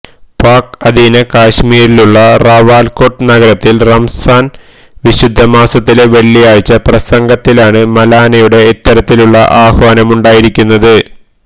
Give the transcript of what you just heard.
pack അധീന കശ്മീരിലുള്ള റാവല്കോട്ട് നഗരത്തില് റംസാന് വിശുദ്ധമാസത്തിലെ വെള്ളിയാഴ്ച പ്രസംഗത്തിലാണ് മൌലാനയുടെ ഇത്തരത്തിലുള്ള ആഹ്വാനമുണ്ടായിരിക്കുന്നത്